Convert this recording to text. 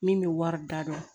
Min bɛ wari da dɔn